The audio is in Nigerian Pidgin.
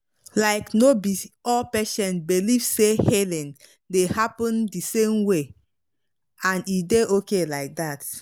like no be all patients believe say healing healing dey happen the same way and e dey okay like that.